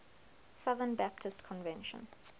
southern baptist convention